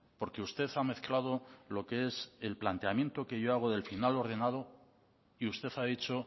porque usted hamezclado lo que es el planteamiento que yo hago del final ordenado y usted ha dicho